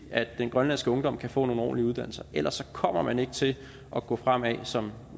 at den grønlandske ungdom kan få nogle ordentlige uddannelser ellers kommer man ikke til at gå fremad som